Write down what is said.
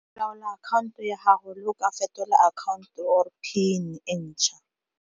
Laola akhanto ya gago le o ka fetola account-o or PIN e ntšha.